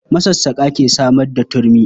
Masassaƙa ke samar da turmi.